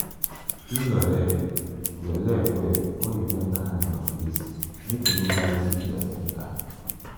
clean your leg your leg well before you enter animal place make you no carry sickness enter.